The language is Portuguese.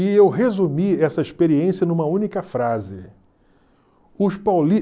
E eu resumi essa experiência numa única frase. Os